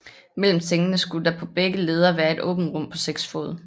Mellem sengene skulle der på begge ledder være et åbent rum på seks fod